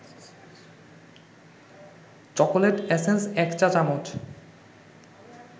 chocolate essence ১ চা-চামচ